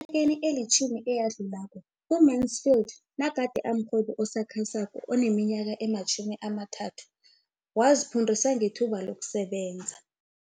Eminyakeni elitjhumi eyadlulako, u-Mansfield nagade amrhwebi osakhasako oneminyaka ema-23, waziphundisa ngethuba lokusebenza